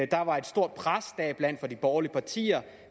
der var et stort pres deriblandt fra de borgerlige partier